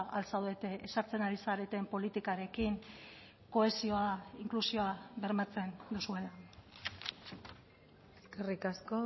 al zaudete ezartzen ari zareten politikarekin kohesioa inklusioa bermatzen duzuela eskerrik asko